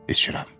İçirəm.